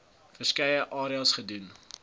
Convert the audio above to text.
verskeie areas gedoen